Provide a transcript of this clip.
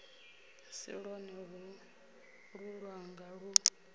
si lwone holu lwanga lu